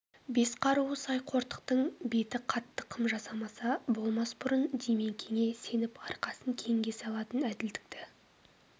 бес қаруы сай қортықтың беті қатты қам жасамаса болмас бұрын димекеңе сеніп арқасын кеңге салатын әділдікті